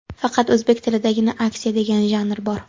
Faqat o‘zbek tilidagina askiya degan janr bor.